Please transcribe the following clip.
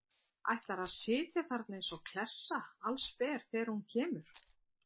Ætlarðu að sitja þarna eins og klessa, allsber, þegar hún kemur?